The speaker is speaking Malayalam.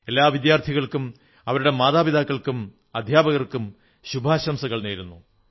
എല്ലാ വിദ്യാർഥികർക്കും അവരുടെ മാതാപിതാക്കൾക്കും അധ്യാപകർക്കും ശുഭാശംസകൾ നേരുന്നു